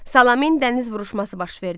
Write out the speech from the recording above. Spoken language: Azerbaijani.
Salamin dəniz vuruşması baş verdi.